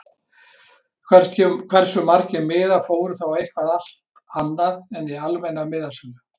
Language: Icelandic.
Hversu margir miðar fóru þá eitthvað allt annað en í almenna miðasölu???